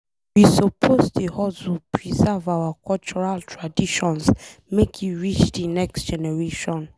We suppose hustle preserve our cultural traditions make e reach de next generation.